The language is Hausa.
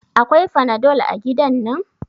Akwai fanadol a godan nan?